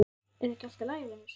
Er ekki allt í lagi vinur?